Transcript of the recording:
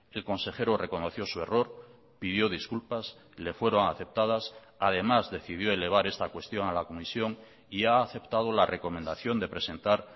el consejero reconoció su error pidió disculpas le fueron aceptadas además decidió elevar esta cuestión a la comisión y ha aceptado la recomendación de presentar